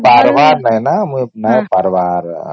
ପାରିବାର ନାହିଁ ନ ମୁଇ ନାଇଁ ପାରିବାର